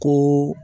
Kun